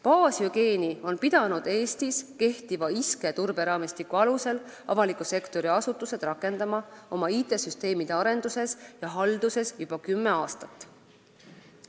Baashügieeni on pidanud Eestis kehtiva ISKE turberaamistiku alusel avaliku sektori asutused rakendama oma IT-süsteemide arenduses ja halduses juba kümme aastat.